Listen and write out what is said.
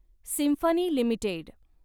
symphony limited